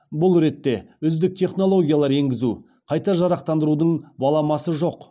бұл ретте үздік технологиялар енгізу қайта жарақтандырудың баламасы жоқ